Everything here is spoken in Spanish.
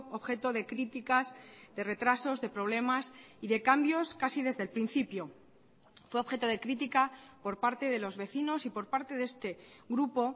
objeto de críticas de retrasos de problemas y de cambios casi desde el principio fue objeto de crítica por parte de los vecinos y por parte de este grupo